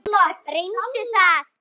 Reyndu það.